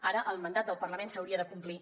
ara el mandat del parlament s’hauria de complir